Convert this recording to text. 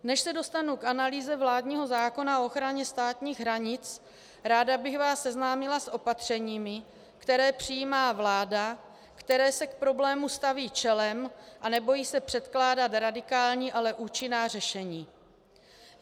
Než se dostanu k analýze vládního zákona o ochraně státních hranic, ráda bych vás seznámila s opatřeními, která přijímá vláda, která se k problému staví čelem a nebojí se předkládat radikální, ale účinná řešení.